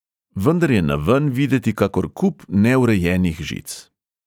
Vendar je naven videti kakor kup neurejenih žic.